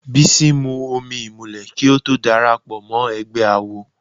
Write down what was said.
Bísí mu omi ìmùlẹ̀ kí ó tó darapọ̀ mọ́ ẹgbẹ́ awo.